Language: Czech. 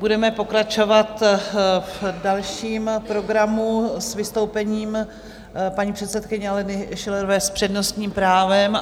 Budeme pokračovat v dalším programu s vystoupením paní předsedkyně Aleny Schillerové s přednostním právem.